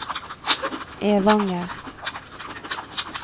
Evanger